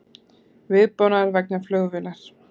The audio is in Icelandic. Viðbúnaður vegna flugvélar